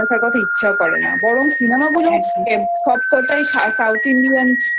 দেখার কথা ইচ্ছাও করে না বরং Cinema গুলো সবকটাই south Indian